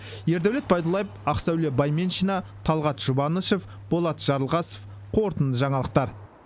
ердәулет байдуллаев ақсәуле байменшина талғат жұбанышев болат жарылғасов қорытынды жаңалықтар